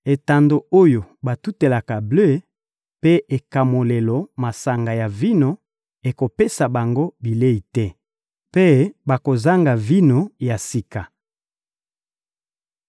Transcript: Etando oyo batutelaka ble mpe ekamolelo masanga ya vino ekopesa bango bilei te, mpe bakozanga vino ya sika.